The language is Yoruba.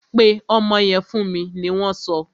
Pe ọmọ yẹn fún mi! ni wọn so.